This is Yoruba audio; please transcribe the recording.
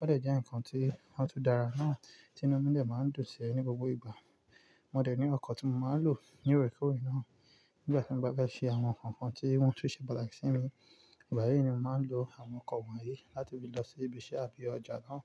o dẹ̀ jẹ́ ǹkan tí a tu dára náà tí inú mi lè máa ń dùnsẹ̀ ní gbogbo ìgbà. Mo dẹ̀ ní ọkọ̀ tí mo máa ń lò ní oríkòrí náà nígbà tí mo bá fé ṣe àwọn nǹkankan tí wọ́n tún ṣe pàtàkì sí mi. Ìbá yẹn ni mo máa ń lo àwọn ọkọ̀ wọ̀nyí láti fi lọ sí ibi iṣẹ́ àbí ọjà náà.